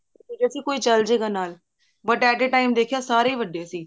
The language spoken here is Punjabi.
ਸੀ ਕੋਈ ਚੱਲ ਜੇਗਾ ਨਾਲ but at a time ਦੇਖਿਆ ਸਾਰੇ ਵੱਡੇ ਸੀ